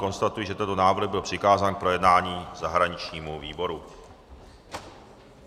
Konstatuji, že tento návrh byl přikázán k projednání zahraničnímu výboru.